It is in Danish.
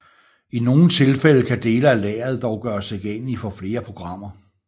I nogle tilfælde kan dele af lageret dog gøres tilgængeligt for flere programmer